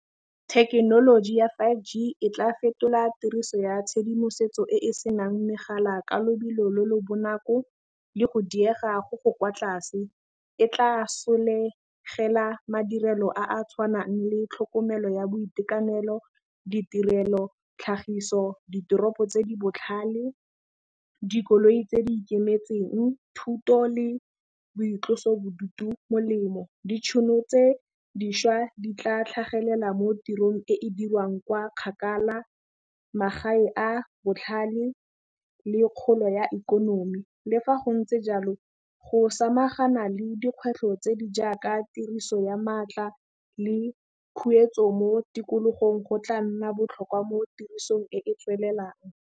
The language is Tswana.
Thekenoloji ya five G e tla fetola tiriso ya tshedimosetso e e senang megala ka lobelo le le bonako le go diega go go kwa tlase. E tla solegela madirelo a a tshwanang le tlhokomelo ya boitekanelo, ditirelo, tlhagiso, ditoropo tse di botlhale, dikoloi tse di ikemetseng, thuto le boitlosobodutu. Molemo, ditšhono tse dišwa di tla tlhagelela mo tirong e e dirwang kwa kgakala, magae a botlhale le kgolo ya ikonomi le fa go ntse jalo, go samagana le dikgwetlho tse di jaaka tiriso ya maatla le khuetso mo tikologong go tla nna botlhokwa mo tirisong e e tswelelang.